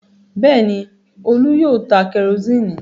Bẹ́ẹ̀ ni, Olú yóò ta kẹrósíínì.